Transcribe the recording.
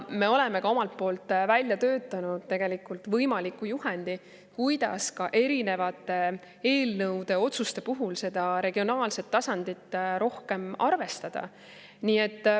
Me oleme omalt poolt välja töötanud võimaliku juhendi, kuidas erinevate eelnõude, otsuste puhul seda regionaalset tasandit rohkem arvestada.